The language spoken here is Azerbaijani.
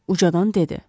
Ucadan dedi.